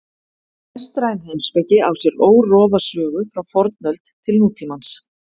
Vestræn heimspeki á sér órofa sögu frá fornöld til nútímans.